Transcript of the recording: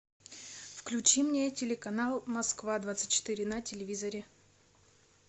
включи мне телеканал москва двадцать четыре на телевизоре